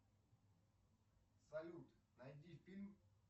салют найди фильм